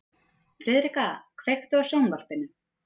Friðrika, kveiktu á sjónvarpinu.